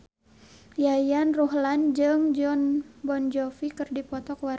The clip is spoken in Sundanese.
Yayan Ruhlan jeung Jon Bon Jovi keur dipoto ku wartawan